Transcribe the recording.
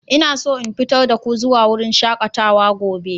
Ina so in fitar da ku zuwa wurin shakatawa gobe.